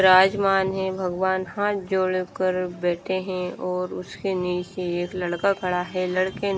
विराजमान है भगवान हाथ जोड़कर बैठे हैं और उसके नीचे एक लड़का खड़ा है लड़के न--